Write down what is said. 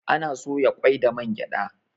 Ana soya kwai da man gyada